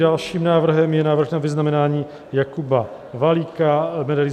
Dalším návrhem je návrh na vyznamenání Jakuba Valíka medailí